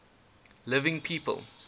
living people